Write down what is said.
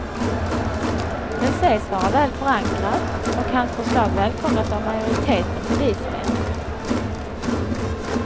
Den sägs vara väl förankrad, och hans förslag välkomnas av majoriteten polismän.